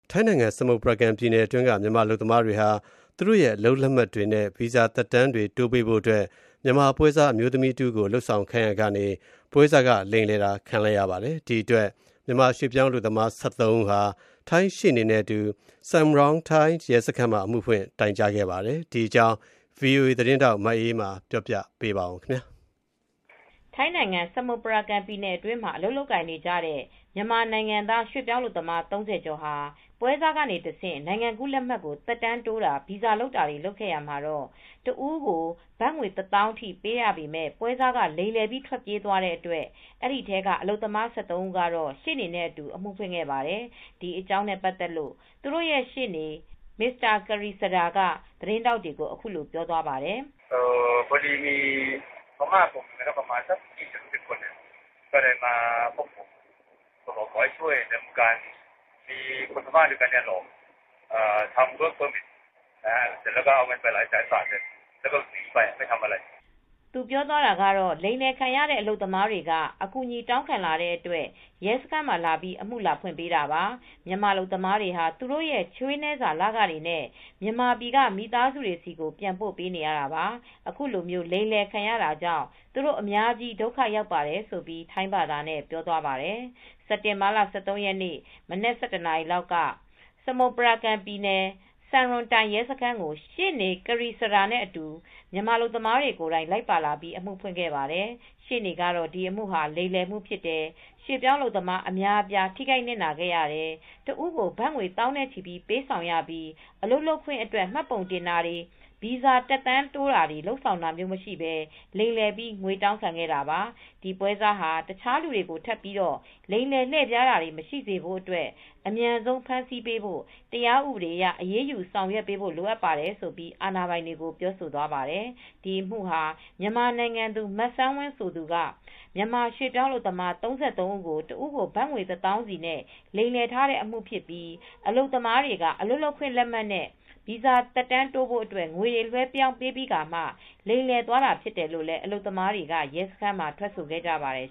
ထိုင်းနိုင်ငံ၊ စမုပရာကမ်ပြည်နယ်အတွင်းက မြန်မာအလုပ်သမားတွေဟာ သူတို့ရဲ့ အလုပ်လက်မှတ်တွေနဲ့ ဗီဇာတွေ သက်တမ်းတိုးပေးဖို့အတွက် မြန်မာပွဲစားအမျိုးသမီး တဦးကို လုပ်ဆောင်ခိုင်းရာကနေ ပွဲစားက လိမ်လည်သွားတာကြောင့် မြန်မာရွှေ့ပြောင်းအလုပ်သမား ၁၃ ဦးဟာ ထိုင်းရှေ့နေနဲ့ အတူ Samrong Tai ရဲစခန်းမှာ အမှုဖွင့်တိုင်ကြားခဲ့ပါတယ်။ ဒီအကြောင်း ဗွီအိုအေသတင်းထောက် မအေးအေးမာက သတင်းပေးပို့ထားပါတယ်။ ထိုင်းနိုင်ငံ စမုပရာကမ်ပြည်နယ်အတွင်းမှာ အလုပ်လုပ်ကိုင်နေကြတဲ့ မြန်မာနိုင်ငံသား ရွှေ့ပြောင်းအလုပ်သမား ၃၀ ကျော်ဟာ ပွဲစားကနေတဆင့် နိုင်ငံကူးလက်မှတ်ကို သက်တမ်းတိုးတာ ဗီဇာလုပ်တာတွေ လုပ်ခဲ့ရာမှာ တဦးကို ဘတ်ငွေ ၁၀,၀၀၀ ထိပေးရပေမဲ့ ပွဲစားက လိမ်လည်ပြီး ထွက်ပြေးသွားတဲ့အတွက် အဲဒီထဲက အလုပ်သမား ၁၃ ဦးက ရှေ့နေနဲ့အတူ အမှုဖွင့်ခဲ့ပါတယ်။ ဒီအကြောင်းနဲ့ ပတ်သက်လို့ သူတို့ရဲ့ ရှေ့နေ Mr.Krisada Trisanputtachart က သတင်းထောက်တွေကို အခုလို ပြောသွားပါတယ်။ သူပြောသွားတာကတော့ လိမ်လည်ခံရတဲ့ မြန်မာအလုပ်သမားတွေက အကူညီတောင်းခံလာတဲ့အတွက် ရဲစခန်းမှာ အမှုလာဖွင့်ပေးတာပါ။ မြန်မာအလုပ်သမားတွေဟာ သူတို့ရဲ့ ချွေးနည်းစာ လခတွေနဲ့ မြန်မာပြည်က မိသားစုတွေဆီကို ပြန်ပို့ပေးနေရတာပါ။ အခုလိုလိမ်လည်ခံရတာကြောင့် သူတို့အများကြီး ဒုက္ခရောက်ပါတယ်လို့ ထိုင်းဘာသာနဲ့ ပြောသွားပါတယ်။ စက်တင်ဘာလ ၁၃ ရက်နေ့ မနက် ၁၁ နာရီလောက်က စမုပရာကမ်ပြည်နယ် Samrong Tai စံရွန်တိုင်ရဲစခန်းကို ရှေ့နေ Krisada Trisarnputthachart နဲ့ အတူ မြန်မာအလုပ်သမားတွေ ကိုယ်တိုင်လိုက်ပါလာပြီး အမှုဖွင့်ခဲ့ပါတယ်။ ရှေ့နေကတော့ ဒီအမှုဟာ လိမ်လည်မှုဖြစ်တယ်။ ရွှေ့ပြောင်းအလုပ်သမား အများအပြား ထိခိုက်နစ်နာခဲ့ရတယ်။ တဦးကို ဘတ်ငွေ သောင်းနဲ့ချီ ပေးဆောင်ရပြီး အလုပ်လုပ်ခွင့်အတွက် မှတ်ပုံတင်တာတွေ ဗီဇာသက်တမ်းတိုးတာတွေ လုပ်ဆောင်တာမျိုးမရှိဘဲ လိမ်လည်ပြီး ငွေတောင်းထားတာပါ။ ဒီပွဲစားဟာ တခြားသူတွေကို ထပ်ပြီး လိမ်လည်လှည့်ဖျားမှု မရှိစေဖို့အတွက် အမြန်ဆုံးဖမ်းဆီးပေးဖို့ တရားဥပဒေအရေ အရေးယူဆောင်ရွက်ပေးဖို့ လိုအပ်ပါတယ်ဆိုပြီး အာဏာပိုင်တွေကို ပြောဆိုသွားပါတယ်။ ဒီအမှုဟာ မြန်မာနိုင်ငံသူ မစမ်းဝင်းဆိုသူက မြန်မာရွှေ့ပြောင်းအလုပ်သမား ၃၃ ဦးကို တဦးကို ဘတ်ငွေ ၁၀,၀၀၀ စီနဲ့ လိမ်လည်ထားတဲ့အမှုဖြစ်ပြီး အလုပ်သမားတွေက အလုပ်လုပ်ခွင့်လက်မှတ်နဲ့ ဗီဇာသက်တမ်းတိုးဖို့အတွက် ငွေတွေ လွဲှပေးပြီးခါမှ လိမ်လည်သွားတာဖြစ်တယ်လို့လည်း အလုပ်သမားတွေက ရဲစခန်းမှာ ထွက်ဆိုခဲ့ကြပါတယ်